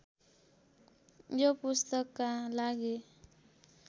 यो पुस्तकका लागि